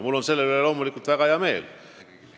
Mul on selle üle loomulikult väga hea meel.